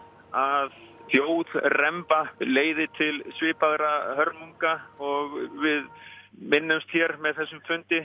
að þjóðremba leiði til svipaðra hörmunga og við minnumst hér með þessum fundi